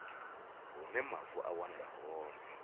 hune mavu a wanala hone